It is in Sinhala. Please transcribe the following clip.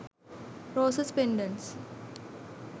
roses pendents